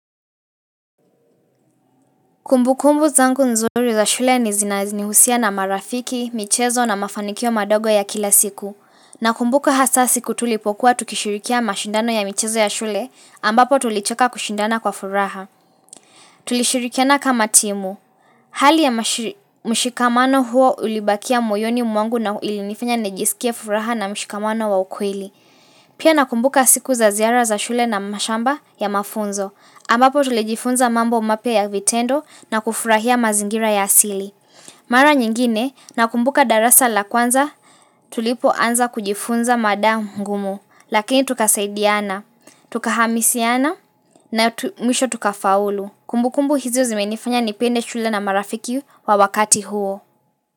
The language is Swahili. Kumbukumbu zangu nzuri za shule ni zinazinihusisha na marafiki, michezo na mafanikio madogo ya kila siku. Nakumbuka hasa siku tulipokuwa tukishirikia mashindano ya michezo ya shule ambapo tulicheka kushindana kwa furaha. Tulishirikiana kama timu. Hali ya mshikamano huo ulibakia moyoni mwangu na ilinifanya nejisikia furaha na mshikamano wa ukwili. Pia nakumbuka siku za ziara za shule na mashamba ya mafunzo. Ambapo tulijifunza mambo umapia ya vitendo na kufurahia mazingira ya asili. Mara nyingine na kumbuka darasa la kwanza tulipo anza kujifunza madama mungumu. Lakini tukasaidiana, tukahamisiana na mwisho tukafaulu. Kumbukumbu hizo zimenifanya nipende shule na marafiki wa wakati huo.